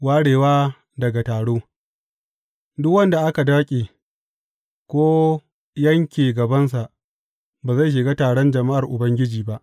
Warewa daga taro Duk wanda aka daƙe, ko yanke gabansa, ba zai shiga taron jama’ar Ubangiji ba.